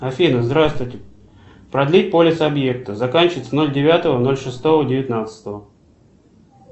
афина здравствуйте продлить полис объекта заканчивается ноль девятого ноль шестого девятнадцатого